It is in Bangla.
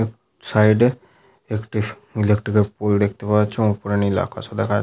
উ সাইড -এ একটি ইলেকট্রিক -এর পোল দেখতে যাওয়া যাচ্ছে ওপরে নীল আকাশও দেখা যা--